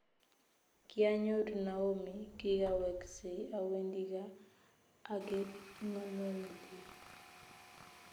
Kyanyoru Naomi kigaweksei awendi gaa agengololye